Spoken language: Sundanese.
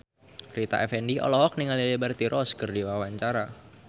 Rita Effendy olohok ningali Liberty Ross keur diwawancara